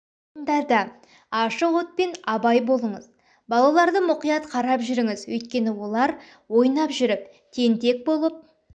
орындарда ашық отпен абай болыңыз балаларды мұқият қарап жүріңіз өйткені олар ойнап жүріп тентек болып